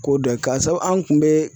Ko dɔ ye k'a sabu an kun bɛ